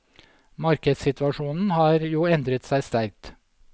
Markedssituasjonen har jo endret seg sterkt.